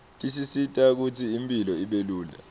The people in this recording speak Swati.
tisisita kutsi impilo ibelula